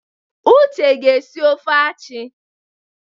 Uche ga esi ofe achi.